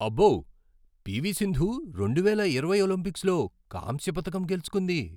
అబ్బో, పీవీ సింధు రెండువేల ఇరవై ఒలింపిక్స్లో కాంస్య పతకం గెలుచుకుంది.